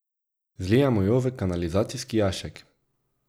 Zlijemo jo v kanalizacijski jašek.